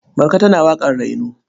Marka tana waƙar raino.